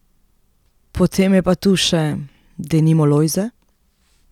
Potem je pa tu še, denimo Lojze.